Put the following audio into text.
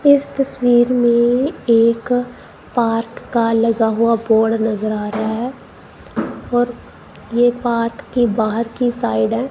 इस तस्वीर में एक पार्क का लगा हुआ बोर्ड नजर आ रहा है और ये पार्क के बाहर की साइड है।